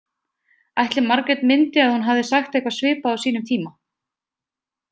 Ætli Margrét myndi að hún hafði sagt eitthvað svipað á sínum tíma?